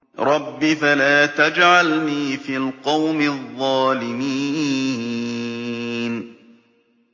رَبِّ فَلَا تَجْعَلْنِي فِي الْقَوْمِ الظَّالِمِينَ